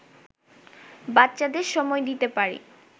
বাচ্চাদের সময় দিতে পারি